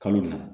Kalo na